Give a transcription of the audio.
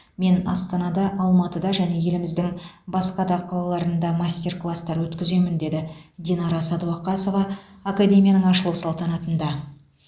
мен астанада алматыда және еліміздің басқа да қалаларында мастер класстар өткіземін деді динара сәдуақасова академияның ашылу салтанатында